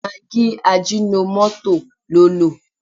Magí ajínomọ́tò ló lò.